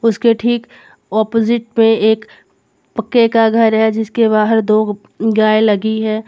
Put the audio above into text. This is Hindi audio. उसके ठीक ऑपोजिट पे एक पक्के का घर है जिसके बाहर दो गाय लगी है।